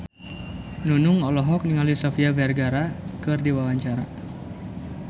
Nunung olohok ningali Sofia Vergara keur diwawancara